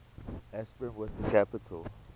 aspirin with a capital